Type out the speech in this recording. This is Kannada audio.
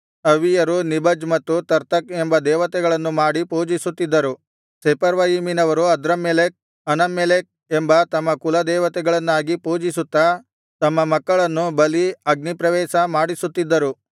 ಅವ್ವಿಯರು ನಿಭಜ್ ಮತ್ತು ತರ್ತಕ್ ಎಂಬ ದೇವತೆಗಳನ್ನು ಮಾಡಿ ಪೂಜಿಸುತ್ತಿದ್ದರು ಸೆಫರ್ವಯಿಮಿನವರು ಅದ್ರಮ್ಮೆಲೆಕ್ ಅನಮ್ಮೆಲೆಕ್ ಎಂಬ ತಮ್ಮ ಕುಲ ದೇವತೆಗಳನ್ನಾಗಿ ಪೂಜಿಸುತ್ತಾ ತಮ್ಮ ಮಕ್ಕಳನ್ನು ಬಲಿ ಅಗ್ನಿಪ್ರವೇಶ ಮಾಡಿಸುತ್ತಿದ್ದರು